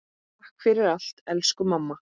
Takk fyrir allt, elsku mamma.